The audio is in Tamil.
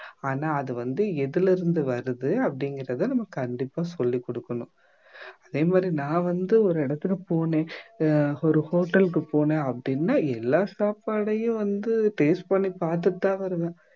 ஆனா அது வந்து எதுல இருந்து வருது அப்படிங்கிறதை நம்ம கண்டிப்பா சொல்லிக் கொடுக்கணும் அதே மாதிரி நான் வந்து ஒரு இடத்துக்கு போனேன் ஆஹ் ஒரு hotel க்கு போனேன் அப்படின்னா எல்லா சாப்பாட்டையும் வந்து taste பண்ணி பார்த்துட்டுதான் வருவேன்